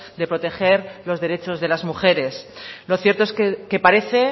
de proteger los derechos de las mujeres lo cierto